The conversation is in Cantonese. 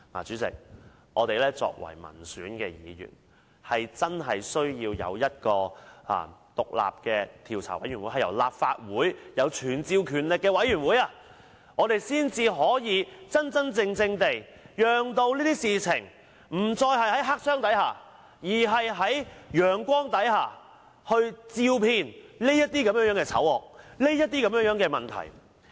主席，作為民選議員，我們真的需要在立法會成立一個有傳召權力的獨立專責委員會，才能真正令這種事情不再在黑箱內發生，並用陽光照遍這種醜惡和問題。